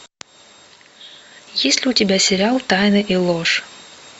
есть ли у тебя сериал тайна и ложь